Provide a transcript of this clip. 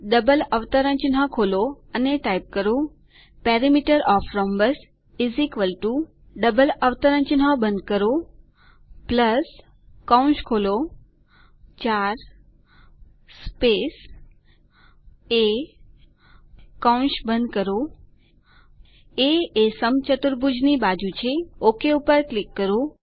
double અવતરણચિહ્નો ખોલો અને ટાઇપ કરો perimeter of the rhombus double અવતરણચિહ્નો બંધ કરો કૌંસ ખોલો 4 સ્પેસ એ કૌંસ બંધ કરો એ એ સમચતુર્ભુજની બાજુ છે ઓક પર ક્લિક કરો